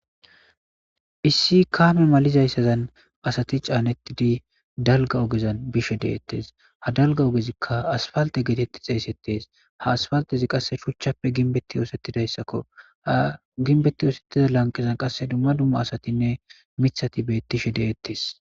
Issi kame malizayssazan asati caanettidi dalga ogezan bishe de'ettes ha dalga ogezikka asfalte geetetti xeeysettees ha asfaltezi qasse shuchchappe ginbetti yoosettidayssakko ha ginbetti yoosettiza lanqizan qasse dumma dumma asatinne mithati beettishe de'ettes.